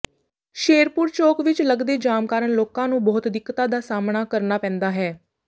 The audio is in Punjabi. ਸ਼ੇਰਪੁਰ ਚੋਕ ਵਿੱਚ ਲੱਗਦੇ ਜਾਮ ਕਾਰਨ ਲੋਕਾਂ ਨੂੰ ਬਹੁਤ ਦਿੱਕਤਾ ਦਾ ਸਾਹਮਣਾ ਕਰਨਾ ਪੈਂਦਾ ਹੈ